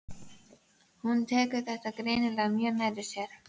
Hún tekur þetta greinilega mjög nærri sér.